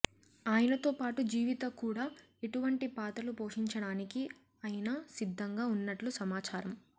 ఆయనతో పాటు జీవిత కూడా ఎటువంటి పాత్రలు పోషించడానికి అయిన సిద్దంగా ఉన్నట్లు సమాచారం